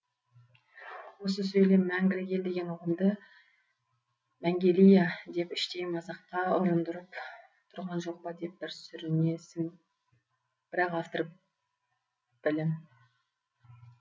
осы сөйлем мәңгілік ел деген ұғымды мәңгелия деп іштей мазаққа ұрындырып тұрған жоқ па деп бір сүрінесің бірақ автор білім